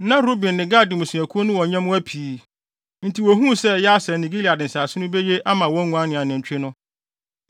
Na Ruben ne Gad mmusuakuw no wɔ nyɛmmoa pii, enti wuhuu sɛ Yaser ne Gilead nsase no beye ama wɔn nguan ne anantwi no.